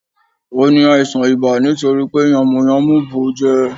Ò ní àìsàn ibà nítori pé yànmùyánmú bù ú jẹ